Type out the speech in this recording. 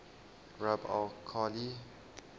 rub al khali